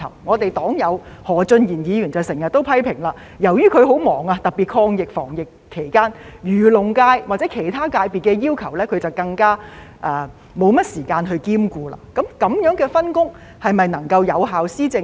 我們的黨友何俊賢議員便經常批評，由於她很忙碌，特別是在抗疫防疫期間，因此更沒有時間兼顧漁農界或其他界別的要求，這樣的分工是否能夠讓政府有效地施政呢？